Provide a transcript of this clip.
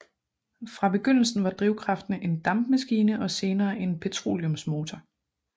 Fra begyndelsen var drivkraften en dampmaskine og senere en petroleumsmotor